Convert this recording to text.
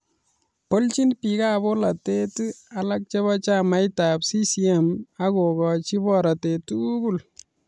Boljin bik ab bolotet alak chebo chamait ab CCM akokochi baratet tugul